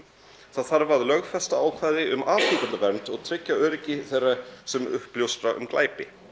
það þarf að lögfesta ákvæði um afhjúpendavernd og tryggja öryggi þeirra sem uppljóstra um glæpi